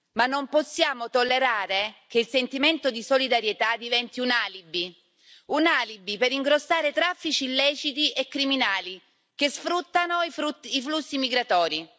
ma non possiamo tollerare che il sentimento di solidarietà diventi un alibi, un alibi per ingrossare traffici illeciti e criminali che sfruttano i flussi migratori.